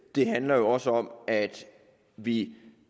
det handler også om at vi